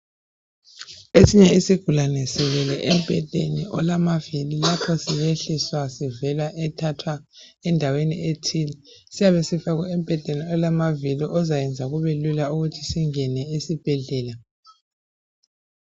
Esnye isigulane silele embhedeni olamavili. Lapho siyehliswa, sivela thathwa endaweni ethile. Siyabe sifakwe embhedeni olamavili, ozayenza kube lula ukuthi singene esibhedlela.